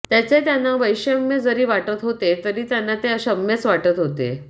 त्याचे त्यांना वैषम्य जरी वाटत होते तरी त्यांना ते क्षम्यच वाटत होते